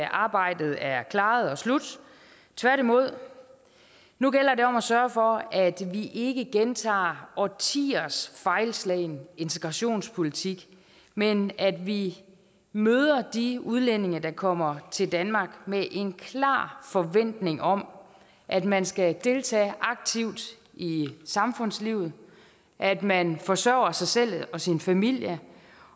arbejdet er klaret og slut tværtimod nu gælder det om at sørge for at vi ikke gentager årtiers fejlslagne integrationspolitik men at vi møder de udlændinge der kommer til danmark med en klar forventning om at man skal deltage aktivt i samfundslivet at man forsørger sig selv og sin familie